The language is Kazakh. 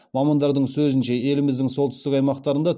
мамандардың сөзінше еліміздің солтүстік аймақтарында